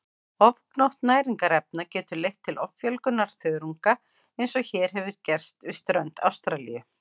Ofgnótt næringarefna getur leitt til offjölgunar þörunga eins og hér hefur gerst við strönd Ástralíu.